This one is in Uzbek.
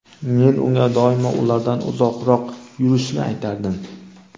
Men unga doimo ulardan uzoqroq yurishni aytardim.